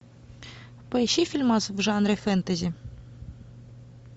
поищи фильмас в жанре фэнтези